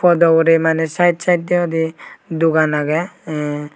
podo hure mane side sidedodi dogan agey.